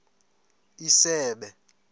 isebe